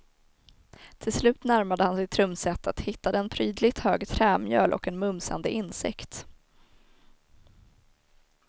Till slut närmade han sig trumsetet, hittade en prydligt hög trämjöl och en mumsande insekt.